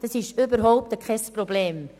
Das ist überhaupt kein Problem.